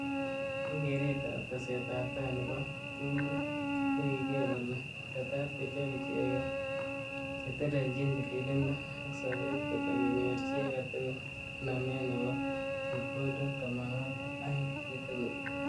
Eng keret ab ab teset ab tai nebo tungwek ko kiker kole tetat kochop icheket chetelejin tililindo ak sobet kole konyor chi age tugul namet nebo chebkondok tamwanwagik aeng chitugul.